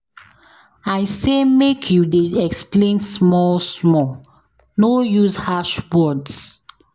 I say make you dey explain small-small, no use harsh words.